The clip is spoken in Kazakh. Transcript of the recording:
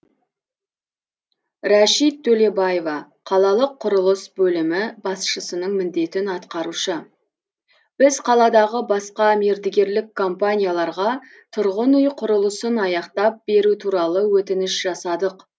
рәшит төлебаева қалалық құрылыс бөлімі басшысының міндетін атқарушы біз қаладағы басқа мердігерлік компанияларға тұрғын үй құрылысын аяқтап беру туралы өтініш жасадық